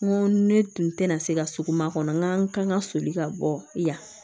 N ko ne tun tɛna se ka sugu ma kɔnɔ n k'an kan ka soli ka bɔ yan